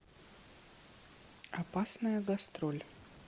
опасная гастроль